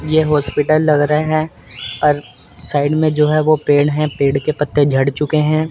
ये हॉस्पिटल लग रहे हैं और साइड में जो है वो पेड़ है पेड़ के पत्ते झड़ चुके हैं।